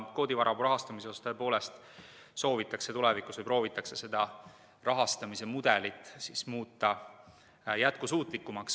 Koodivaramu rahastamise osas soovitakse tulevikus proovida muuta seda rahastamismudelit jätkusuutlikumaks.